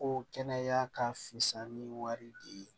Ko kɛnɛya ka fisa ni wari di